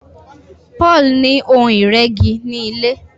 Paul ní Ohun ìrẹ́gi ní ilé.